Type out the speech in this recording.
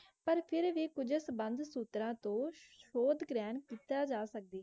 पर फिर वि क़ुराख़ बंद सूत्रण तू शोत ग्रेन बंद किता जसगढी है जी